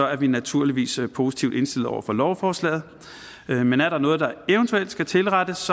er vi naturligvis positivt indstillet over for lovforslaget men er der noget der eventuelt skal tilrettes